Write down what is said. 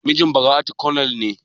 Mijin Bara'atu konel ne?